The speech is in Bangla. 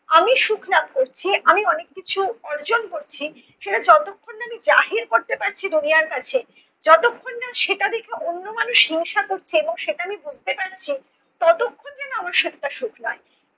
আমি সুখ লাভ করছি, আমি অনেক কিছু অর্জন করছি সেটা যতক্ষণ না আমি জাহির করতে পারছি দুনিয়ার কাছে, যতক্ষণ না সেটা দেখে অন্য মানুষ হিংসা করছে এবং সেটা আমি বুঝতে পারছি ততক্ষণ যেন আমার সুখটা সুখ নয়।